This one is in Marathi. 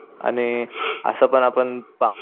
आणि असं पण आपण पा